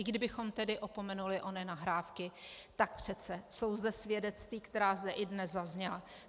I kdybychom tedy opomenuli ony nahrávky, tak přece jsou zde svědectví, která zde i dnes zazněla.